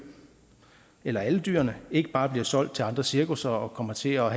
eller alle dyrene ikke bare bliver solgt til andre cirkusser og kommer til at